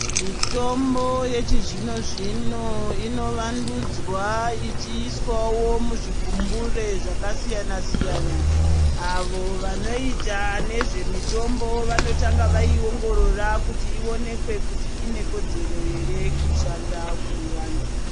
Mitombo yechi zvino zvino ino vandudzwa ichiiswawo mu zvigumbure zvaka siyana siyana avo vanoita nezve mitombo vano tanga vayi ongorora kuti ionekwe kuti ine kodzero ere kushanda kune antu.